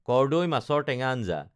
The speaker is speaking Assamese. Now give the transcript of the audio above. কৰ্দৈ মাছৰ টেঙা আঞ্জা